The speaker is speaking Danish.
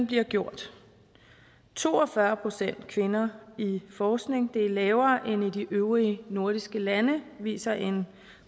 bliver gjort to og fyrre procent kvinder i forskning er lavere end i de øvrige nordiske lande viser en